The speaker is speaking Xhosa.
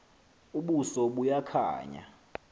ubuso buya khanya